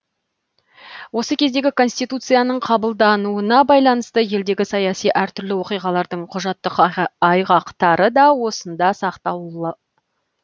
осы кездегі конституцияның қабылдануына байланысты елдегі саяси әртүрлі оқиғалардың құжаттық айғақтары да осында сақталулы